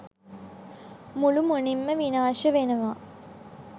මුලුමනින්ම විනාශ වෙනව.